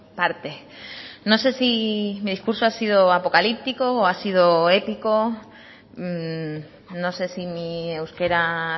partes no sé si me discurso ha sido apocalíptico o ha sido épico no sé si mi euskera